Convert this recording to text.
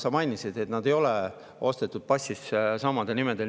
Sa mainisid, et need ei ole nii ostetud, passis sama nimetus.